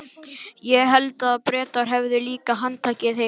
Ég hélt að Bretar hefðu líka handtekið þig?